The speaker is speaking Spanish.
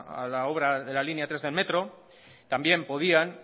a la obra de la línea tres del metro también podían